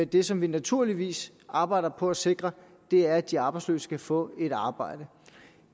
det som vi naturligvis arbejder på at sikre er at de arbejdsløse kan få et arbejde